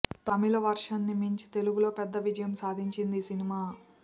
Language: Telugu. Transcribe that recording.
తమిళ వర్షన్ ని మించి తెలుగులో పెద్ద విజయం సాధించింది ఈ సినిమా